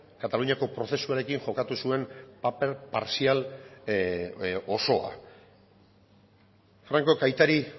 kataluniako prozesuarekin jokatu zuen paper partzial osoa francok aitari